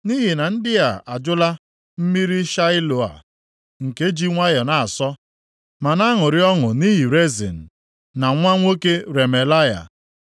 “Nʼihi na ndị a ajụla mmiri Shiloa + 8:6 Mmiri a, si nʼisi iyi Gaihọn na-asọbata nʼime Jerusalem, inye ndị bi nʼime obodo mmiri ọṅụṅụ \+xt 2Ih 32:4,30\+xt* nke ji nwayọọ na-asọ ma na-aṅụrị ọṅụ nʼihi Rezin na nwa nwoke Remalaya,